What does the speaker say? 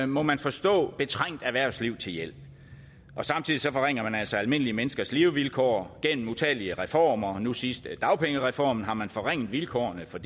må man forstå betrængt erhvervsliv til hjælp og samtidig forringer man altså almindelige menneskers levevilkår gennem utallige reformer nu sidst med dagpengereformen har man forringet vilkårene for